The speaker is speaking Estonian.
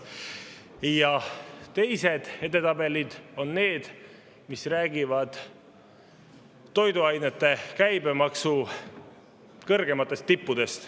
Ja teised edetabelid on need, mis räägivad toiduainete käibemaksu kõrgematest tippudest.